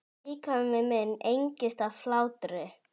Líkami minn engist af hlátri.